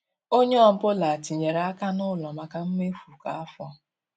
Ònye ọ́bụ̀la tinyèrè aka n' ụlọ maka mmefu kwa afọ.